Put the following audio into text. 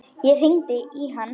Ég hringdi í hann.